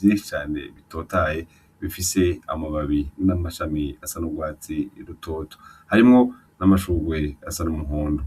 vyinshi cane bitotahaye bifise amababi n'amashami asa n'ugwatsi rutoto, harimwo n'amashurwe asa n'umuhondo.